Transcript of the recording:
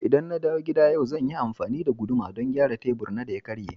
ldan na dawo gida yau, zan yi amfani da guduma don gyara tebur na da ya karye.